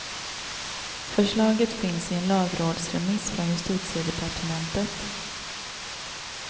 Förslaget finns i en lagrådsremiss från justitiedepartementet.